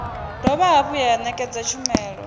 dovha hafhu ya ṋekedza tshumelo